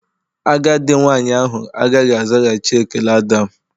Agadi nwanyị ahụ agaghị azaghachi ekele Adam.